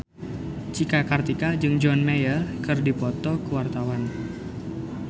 Cika Kartika jeung John Mayer keur dipoto ku wartawan